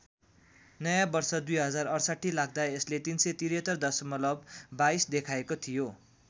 नयाँ वर्ष २०६८ लाग्दा यसले ३७३ दशमलव २२ देखाएको थियो।